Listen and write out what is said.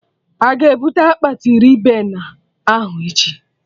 Aga ebute akpati Ribena ahụ echi?